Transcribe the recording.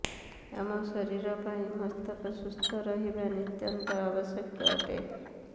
ଆମ ଶରୀର ପାଇଁ ମସ୍ତିଷ୍କ ସୁସ୍ଥ ରହିବା ନିତ୍ୟାନ୍ତ ଆବଶ୍ୟକ ଅଟେ